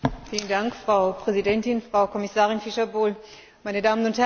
Frau Präsidentin, Frau Kommissarin Fischer Boel, meine Damen und Herren!